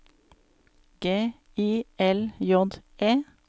G I L J E